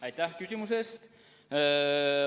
Aitäh küsimuse eest!